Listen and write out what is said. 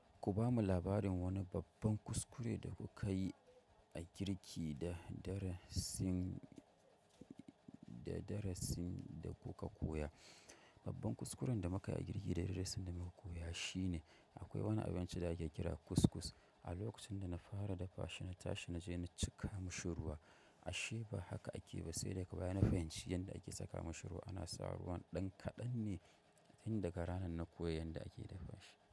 Ku bamu labarin wani babban kuskure da kuka yi a girki da darasin da kuka koya. Babban kuskuren da muka yi a girki da darasin da muka koya shine akwai wani abinci da ake kira kuskus. A lokacin da na fara dafa shi, na tashi na je na cika mushi ruwa ashe ba haka ake ba sai da ka baya na fahimci yadda ake saka mashi ruwa. Ana sa ruwan ɗan kaɗan ne tin daga ranan na koya yanda ake dafa shi.